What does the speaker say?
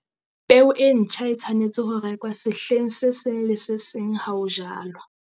Peo e ntjha e tshwanetse ho rekwa sehleng se seng le se seng ha ho jalwa.